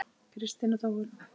Kristín og Þóra.